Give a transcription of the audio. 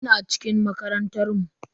Ina cikin makarantar mu.